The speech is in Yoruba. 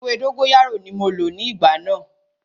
Ewé dógóyárò ní mo lò ní ìgbà náà.